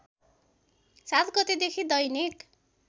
७ गतेदेखि दैनिक